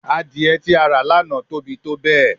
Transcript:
Adie ti a ra lana tobi tobẹẹ